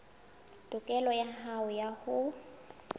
tokelo ya hao ya ho